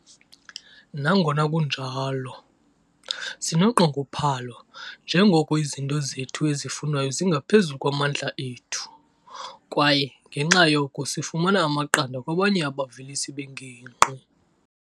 "Nangona kunjalo, sinonqongophalo njengoko izinto zethu ezifunwayo zingaphezulu kwamandla ethu, kwaye, ngenxa yoko, sifumana amaqanda kwabanye abavelisi bengingqi."